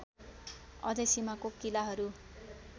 अझै सीमाको किलाहरू